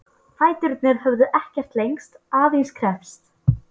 Fæturnir höfðu ekkert lengst, aðeins kreppst.